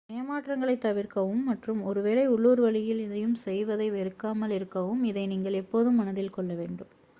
ஏமாற்றங்களைத் தவிர்க்கவும் மற்றும் ஒரு வேளை உள்ளூர் வழியில் எதையும் செய்வதை வெறுக்காமல் இருக்கவும் இதை நீங்கள் எப்போதும் மனதில் கொள்ள வேண்டும்